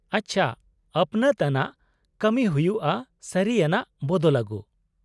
-ᱟᱪᱪᱷᱟ, ᱟᱹᱯᱱᱟᱹᱛ ᱟᱱᱟᱜ ᱠᱟᱹᱢᱤ ᱦᱩᱭᱩᱜᱼᱟ ᱥᱟᱹᱨᱤ ᱟᱱᱟᱜ ᱵᱚᱫᱚᱞ ᱟᱜᱩ ᱾